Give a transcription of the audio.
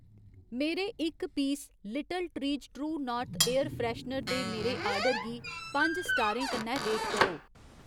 मेरे इक piece little trees true north air freshener दे मेरे आर्डर गी पंज स्टारें कन्नै रेट करो